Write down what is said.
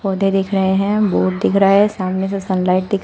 पौधें दिख रहे हैं। बोर्ड दिख रहा है सामने से सनलाइट दिख --